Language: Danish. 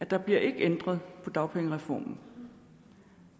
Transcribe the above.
der bliver ikke ændret på dagpengereformen